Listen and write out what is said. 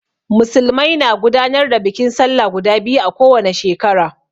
Musulmai na gudanar da bikin sallah guda biyu a ko wane shekara.